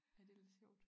Ej det lidt sjovt